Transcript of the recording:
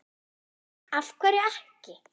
af hverju ekki?